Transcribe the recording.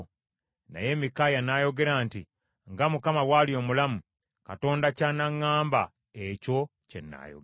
Naye Mikaaya n’ayogera nti, “Nga Mukama bw’ali omulamu Katonda ky’anaŋŋamba ekyo kye nnaayogera.”